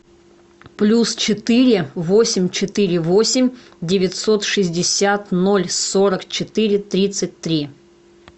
плюс четыре восемь четыре восемь девятьсот шестьдесят ноль сорок четыре тридцать три